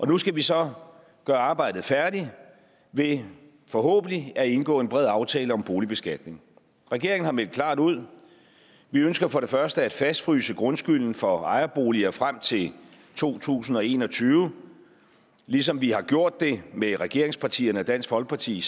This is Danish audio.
nu skal vi så gøre arbejdet færdigt ved forhåbentlig at indgå en bred aftale om boligbeskatning regeringen har meldt klart ud vi ønsker for det første at fastfryse grundskylden for ejerboliger frem til to tusind og en og tyve ligesom vi har gjort det med regeringspartierne og dansk folkeparti i